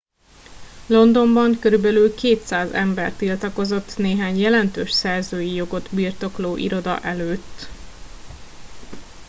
londonban körülbelül 200 ember tiltakozott néhány jelentős szerzői jogot birtokló iroda előtt